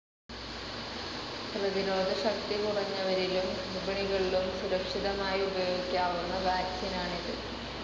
പ്രതിരോധശക്തി കുറഞ്ഞവരിലും ഗർഭിണികളിലും സുരക്ഷിതമായി ഉപയോഗിക്കാവുന്ന വാക്സിനാണിത്.